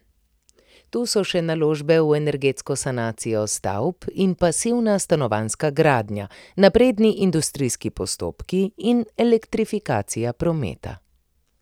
Tu so še naložbe v energetsko sanacijo stavb in pasivna stanovanjska gradnja, napredni industrijski postopki in elektrifikacija prometa.